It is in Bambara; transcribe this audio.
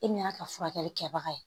E min y'a ka furakɛli kɛbaga ye